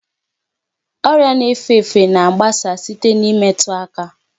Ọrịa na-efe efe na-agbasa site n'imetu aka.